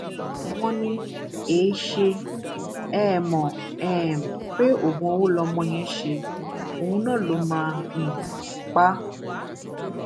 wọn ní èé ṣe é mọ um pé oògùn owó lọmọ yẹn ṣe òun náà ló máa um pa á